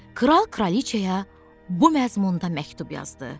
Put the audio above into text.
Kral kraliçaya bu məzmunda məktub yazdı: